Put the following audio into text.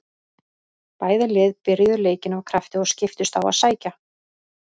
Bæði lið byrjuðu leikinn af krafti og skiptust á að sækja.